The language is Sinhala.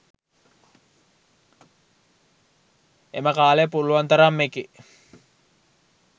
එම කාලය පුළුවන් තරම් එකේ